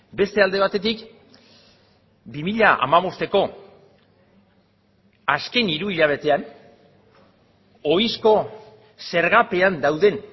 beste alde batetik bi mila hamabosteko azken hiru hilabetean ohizko zergapean dauden